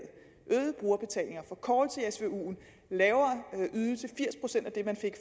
øget brugerbetaling forkortelse af svuen lavere ydelse firs procent af det man fik